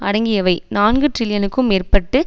அடங்கியவை நான்கு டிரில்லியனுக்கும் மேற்பட்டு